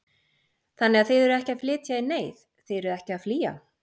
Þannig að þið eruð ekki að flytja í neyð, þið eruð ekki að flýja?